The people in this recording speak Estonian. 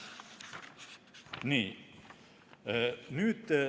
" Nii.